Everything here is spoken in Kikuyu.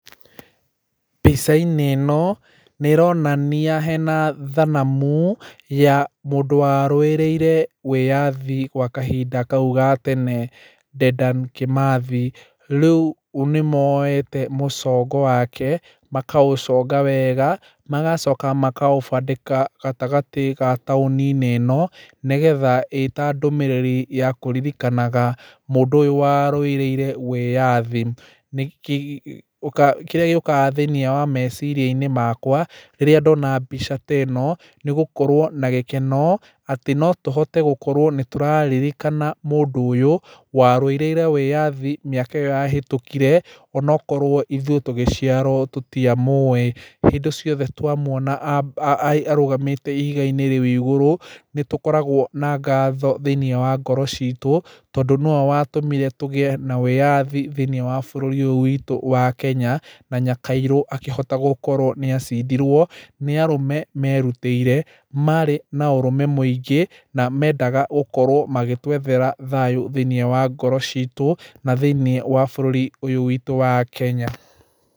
Mbica-inĩ ĩno, nĩ ĩronania hena thanamu ya mũndũ warũĩrĩire wĩyathi gwa kahinda kau ga tene Dedan Kimathi. Rĩu nĩ moyete mũcongo wake, makaũconga wega, magacoka makaũbandĩka gatagatĩ ga taũni-inĩ ĩno, nĩgetha ĩĩ ta ndũmĩrĩri ya kũkuririkanaga mũndũ ũyũ warũĩrĩire wĩyathi. Kĩrĩa gĩũkaga thĩiniĩ wa meciria-inĩ makwa, rĩrĩa ndona mbica ta ĩno, nĩ gũkorwo na gĩkeno atĩ tũhote gũkorwo nĩ tũraririkana mũndũ ũyũ, warũĩrĩire wĩyathi mĩaka ĩyo yahĩtũkire, onokorwo ithuĩ tũgĩciarwo tũtiamũĩ. Hĩndĩ ciothe twamuona arũgamĩte ihiga-inĩ rĩu igũrũ, nĩ tũkoragwo na ngatho thĩiniĩ wa ngoro ciitũ, tondũ nĩwe watũmire tũgĩe na wĩyathi thĩiniĩ wa bũrũri ũyũ witũ wa Kenya, na nyakairũ akĩhota gũkorwo nĩ acindirwo, nĩ arũme merutĩire, maarĩ na ũrũme mũingĩ, na mendaga gũkorwo magĩtwethera thayũ thĩiniĩ wa ngoro ciitũ, na thĩiniĩ wa bũrũri ũyũ witũ wa Kenya.